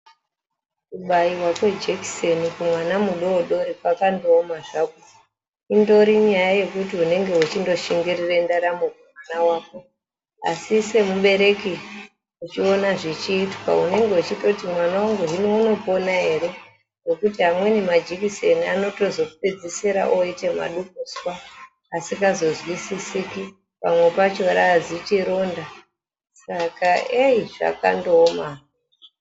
Kubaiwa kwe jekiseni kumwana mudoodori kwaka ndooma zvakwo indori nyaya yekuti unenge uchindo shingirira ndaramo kumwana wako asi semubereki uchiona zvichiitwa unenge uchitoti mwana wangu hino unopona ere nekuti amweni majekiseni anozopedzisira ooite madukuswa asikazo zwisisiki pamwe pacho raazichi ronda saka eyii zvaka ndooma hazvo.